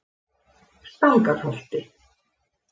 Stangarholti